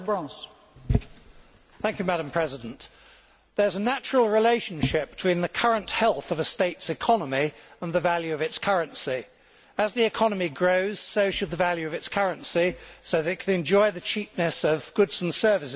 Madam President, there is a natural relationship between the current health of a state's economy and the value of its currency. As the economy grows, so should the value of its currency so that it can enjoy the cheapness of goods and services that it chooses to import.